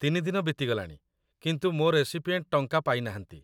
୩ ଦିନ ବିତିଗଲାଣି, କିନ୍ତୁ ମୋ ରେସିପିଏଣ୍ଟ ଟଙ୍କା ପାଇନାହାନ୍ତି ।